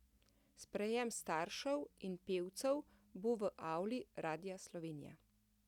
Sprejem staršev in pevcev bo v avli Radia Slovenija.